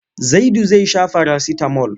Zaidu zai sha farasitamol.